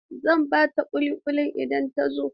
Zan ba ta ƙuliƙuli idan ta zo.